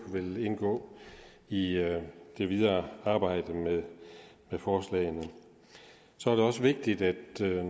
vil indgå i det videre arbejde med forslaget så er det også vigtigt